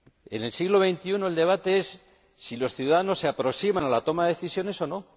En el siglo XXI lo que se debate es si los ciudadanos se aproximan a la toma de decisiones o no.